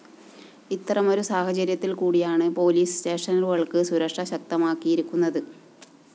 ഇത്തരമൊരു സാഹചര്യത്തില്‍ കൂടിയാണ് പോലീസ് സ്റ്റേഷനുകള്‍ക്ക് സുരക്ഷ ശക്തമാക്കിയിരിക്കുന്നത്